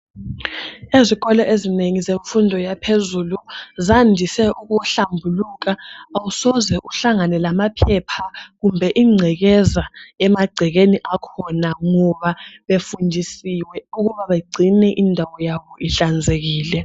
Esikolo ezinengi zemfundo yaphezulu zandise ukuhlambuluka awusoze uhlangane lamaphepha kumbe ingcekeza emagcekeni akhona ngoba befundisiwe ukuba bengcine indawo yabo ihlanzekile